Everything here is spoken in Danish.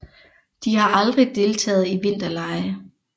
De har aldrig deltaget i vinterlege